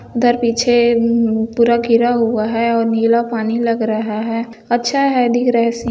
उधर पीछे पूरा मम-- घिरा हुआ है और नीला पानी लग रहा हैअच्छा है दिख रहा है सीन ।